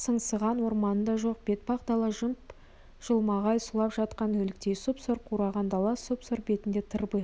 сыңсыған орманы да жоқ бетпақ дала жып-жылмағай сұлап жатқан өліктей сұп-сұр қураған дала сұп-сұр бетінде тырбиған